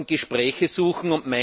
Wir sollten Gespräche suchen.